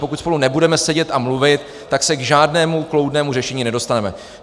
Pokud spolu nebudeme sedět a mluvit, tak se k žádnému kloudnému řešení nedostaneme.